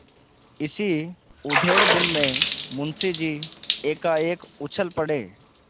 इसी उधेड़बुन में मुंशी जी एकाएक उछल पड़े